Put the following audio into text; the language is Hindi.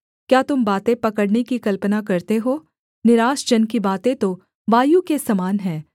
क्या तुम बातें पकड़ने की कल्पना करते हो निराश जन की बातें तो वायु के समान हैं